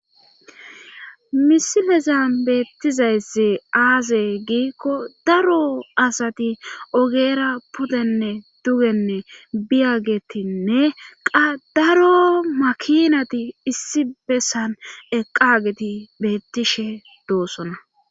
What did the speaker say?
misilezan beettizaysse aaze giikko daro asati ogera pudenne dugenne biyagetinne qa daro makinati issi bessan eqqageti beettishe doossona